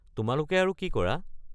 তোমালোকে আৰু কি কৰা?